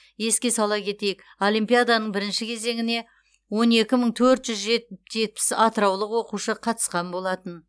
еске сала кетейік олимпиаданың бірінші кезеңіне он екі мың төрт жүз жет жетпіс атыраулық оқушы қатысқан болатын